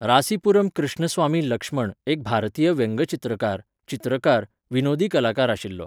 रासिपुरम कृष्णस्वामी लक्ष्मण एक भारतीय व्यंगचित्रकार, चित्रकार, विनोदी कलाकार आशिल्लो.